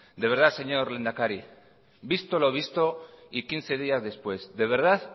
de verdad señor lehendakari visto lo visto y quince días después de verdad